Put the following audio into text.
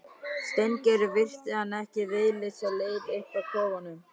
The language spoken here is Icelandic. Steingerður virti hann ekki viðlits á leið upp að kofunum.